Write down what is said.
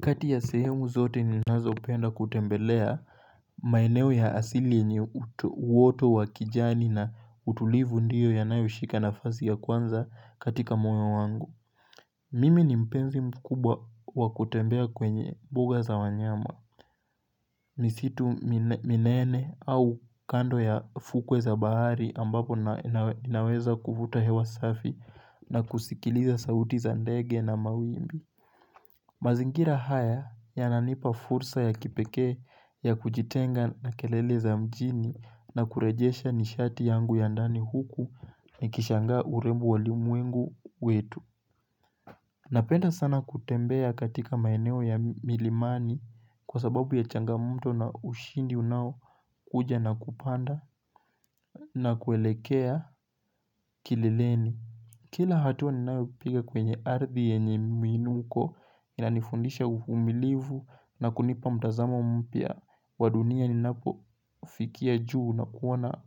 Kati ya sehemu zote ninazopenda kutembelea maeneo ya asili yenye uoto wa kijani na utulivu ndiyo yanayoshika nafasi ya kwanza katika moyo wangu. Mimi ni mpenzi mkubwa wa kutembea kwenye mbuga za wanyama misitu minene au kando ya fukwe za bahari ambapo ninaweza kuvuta hewa safi na kusikiliza sauti za ndege na mawimbi. Mazingira haya yananipa fursa ya kipekee ya kujitenga na kelele za mjini na kurejesha nishati yangu ya ndani huku nikishanga urembo wa ulimwengu wetu. Napenda sana kutembea katika maeneo ya milimani kwa sababu ya changamoto na ushindi unaokuja na kupanda na kuelekea kilileni. Kila hatua ninayopiga kwenye ardhi yenye miinuko inanifundisha umilivu na kunipa mtazama mpya wa dunia ninapofikia juu na kuona